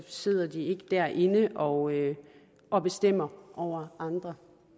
sidder derinde og og bestemmer over andre